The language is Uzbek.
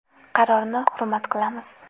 Qarorni hurmat qilamiz.